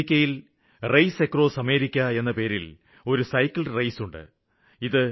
അമേരിക്കയില് race across America എന്ന പേരില് ഒരു സൈക്കിള് റെയിസ് ഉണ്ട്